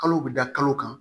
Kalo bɛ da kalo kan